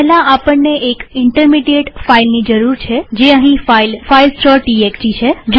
પહેલા આપણને એક ઇન્ટરમીડીએટ ફાઈલ ની જરૂર છેજે અહીં ફાઈલ filesટીએક્સટી છે